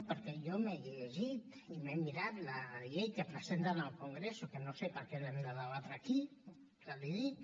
perquè jo m’he llegit i m’he mirat la llei que presenten en el congreso que no sé per què l’hem de debatre aquí ja l’hi dic